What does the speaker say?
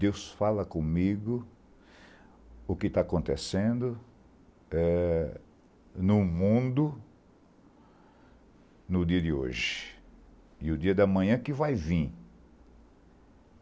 Deus fala comigo o que está acontecendo no mundo no dia de hoje e no dia da manhã que vai vir.